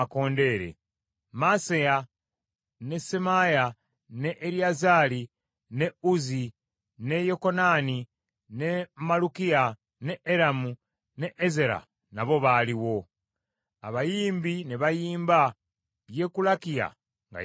Maaseya, ne Semaaya, ne Eriyazaali, ne Uzzi, ne Yekokanani, ne Malukiya, ne Eramu, ne Ezera nabo baaliwo. Abayimbi ne bayimba, Yekulakiya nga ye mukulu waabwe.